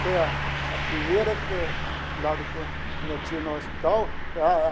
Foi a a primeira lá de quando quando eu estive no hospital.